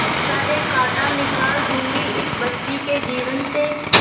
सारे कांटा निकाल दूंगी इस बच्ची के जीवन से